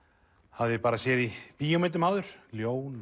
hafði bara séð í bíómyndum áður ljón